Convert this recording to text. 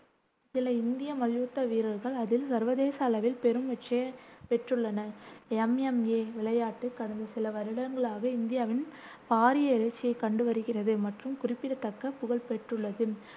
சில இந்திய மல்யுத்த வீரர்கள் அதில் சர்வதேச அளவில் பெரும் வெற்றியைப் பெற்றுள்ளனர். MMA விளையாட்டு கடந்த சில வருடங்களாக இந்தியாவில் பாரிய எழுச்சியை கண்டு வருகிறது மற்றும் குறிப்பிடத்தக்க புகழ் பெற்றுள்ளது.